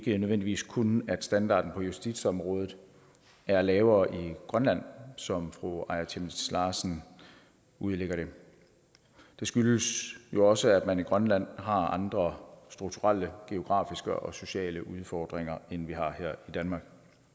nødvendigvis kun at standarden på justitsområdet er lavere i grønland som fru aaja chemnitz larsen udlægger det det skyldes jo også at man i grønland har andre strukturelle geografiske og sociale udfordringer end vi har her i danmark